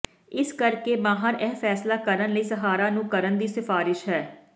ਇਸੇ ਕਰਕੇ ਮਾਹਰ ਇਹ ਫ਼ੈਸਲਾ ਕਰਨ ਲਈ ਸਹਾਰਾ ਨੂੰ ਕਰਨ ਦੀ ਸਿਫਾਰਸ਼ ਹੈ